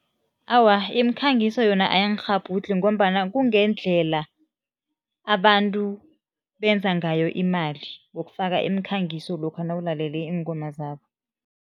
Awa, imikhangiso yona ayingikghabhudlhi ngombana kungendlela abantu benza ngayo imali, ngokufaka imikhangiso lokha nawulalele iingoma zabo.